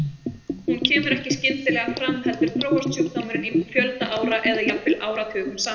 Hún kemur ekki skyndilega fram heldur þróast sjúkdómurinn í fjölda ára eða jafnvel áratugum saman.